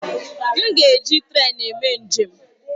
M ga-eji trèn eme njem.